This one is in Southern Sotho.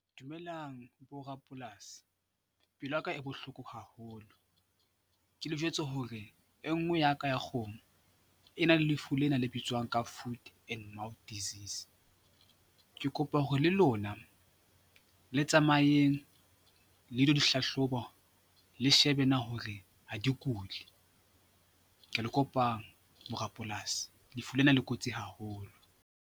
Dumelang borapolasi, pelo yaka e bohloko haholo. Ke le jwetse hore e nngwe ya ka ya kgomo e na le lefu lena le bitswang ka Food and Mouth Disease. Ke kopa hore le lona le tsamayeng le lo dihlahloba le shebe na hore ha di kule. Ke a le kopang borapolasi, lefu lena le kotsi haholo.